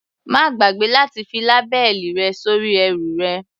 Má gbàgbé láti fi lábẹ́ẹ̀lì rẹ sórí ẹrù rẹ.